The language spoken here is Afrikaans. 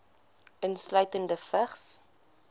insluitende vigs